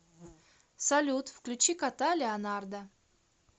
салют включи кота леонарда